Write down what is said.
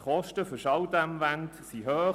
Die Kosten für Schalldämmwände sind hoch;